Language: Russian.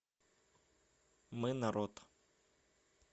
мы народ